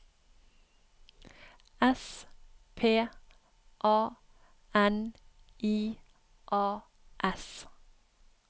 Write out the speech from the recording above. S P A N I A S